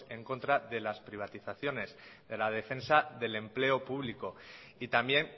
en contra de las privatizaciones de la defensa del empleo público y también